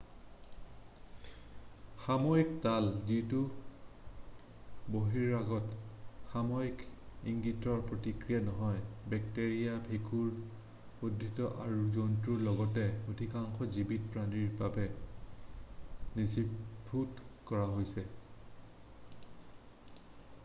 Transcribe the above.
সাময়িক তাল যিটো বহিৰাগত সাময়িক ইংগিতৰ প্ৰতিক্ৰিয়া নহয় বেক্টেৰিয়া ভেঁকুৰ উদ্ভিদ আৰু জন্তুৰ লগতে অধিকাংশ জীৱিত প্ৰাণীৰ বাবে নথিভূত কৰা হৈছে